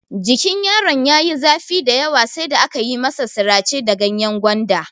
Jikin yaron ya yi zafi dayawa sai da aka masa sirace da ganyen gwanda.